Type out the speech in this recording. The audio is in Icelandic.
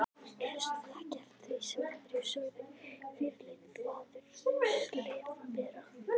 Hlustaði ekki eftir því sem aðrir sögðu, fyrirleit þvaður, slefbera.